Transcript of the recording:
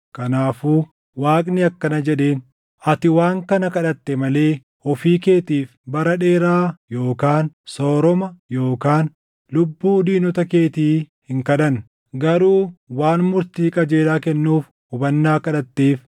Kanaafuu Waaqni akkana jedheen; “Ati waan kana kadhatte malee ofii keetiif bara dheeraa yookaan sooroma yookaan lubbuu diinota keetii hin kadhanne; garuu waan murtii qajeelaa kennuuf hubannaa kadhatteef,